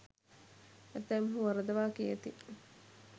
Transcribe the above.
ඇතැම්හූ වරදවා කියති.